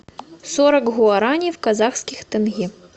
сорок гуарани в казахских тенге